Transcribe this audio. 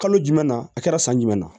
Kalo jumɛn na a kɛra san jumɛn na